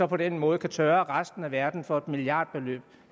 på den måde kan tørre resten af verden for et milliardbeløb